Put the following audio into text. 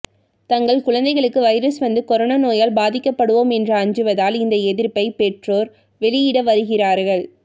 தங்கள் குழந்தைகளுக்கு வைரஸ் வந்து கோரோனோ நோயால் பாதிக்கப்படுவோம் என்று அஞ்சுவதால் இந்த எதிர்ப்பை பெற்றோர் வெளியிடுவருகிறார்கள்